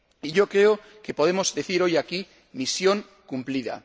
Y creo que podemos decir hoy aquí misión cumplida.